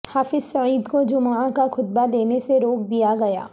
حافظ سعید کو جمعہ کا خطبہ دینے سے روک دیا گیا